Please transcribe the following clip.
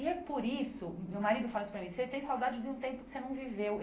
E é por isso, hum meu marido fala isso para mim, você tem saudade de um tempo que você não viveu.